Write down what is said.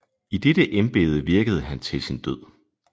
I dette embede virkede han til sin død